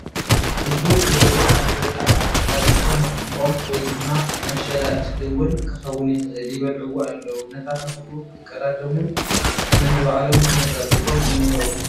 እጉድ ዝበሉ ኣንበጣታት ኣብ ዝኾነ ቖም ወይ ድማ መሸላ እኽሊ 'ውን ክኽውን ይኽእል ይበልዑዎ ኣለዉ ነታ ተኽሉ ኽቐዳደሙ ነንባዕሎም ተነፃፂፎም እንሄዉ ።